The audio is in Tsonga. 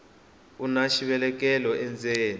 una xivelekelo endzeni